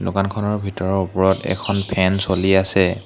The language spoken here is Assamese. দোকানখনৰ ভিতৰৰ ওপৰত এখন ফেন চলি আছে।